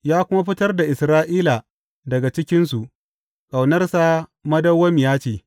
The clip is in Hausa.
Ya kuma fitar da Isra’ila daga cikinsu Ƙaunarsa madawwamiya ce.